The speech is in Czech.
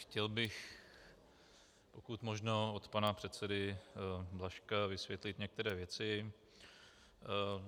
Chtěl bych pokud možno od pana předsedy Blažka vysvětlit některé věci.